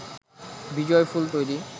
বিজয়ফুল তৈরি